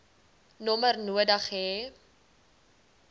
nommer nodig hê